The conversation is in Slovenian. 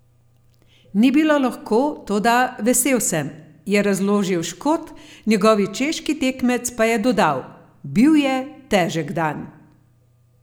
Ni bilo lahko, toda vesel sem," je razložil Škot, njegovi češki tekmec pa je dodal: "Bil je težek dan.